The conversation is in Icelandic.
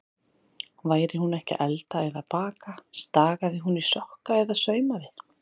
Væri hún ekki að elda eða baka, stagaði hún í sokka eða saumaði.